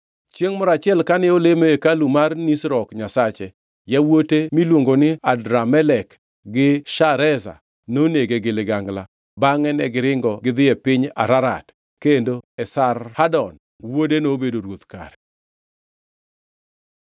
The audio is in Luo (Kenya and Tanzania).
Chiengʼ moro achiel kane olemo e hekalu mar Nisrok nyasache, yawuote miluongo ni Adramelek gi Shareza nonege gi ligangla, bangʼe negiringo gidhi e piny Ararat. Kendo Esarhadon wuode nobedo ruoth kare.